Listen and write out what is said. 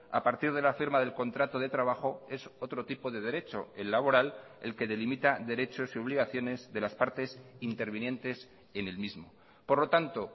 a partir de la firma del contrato de trabajo es otro tipo de derecho el laboral el que delimita derechos y obligaciones de las partes intervinientes en el mismo por lo tanto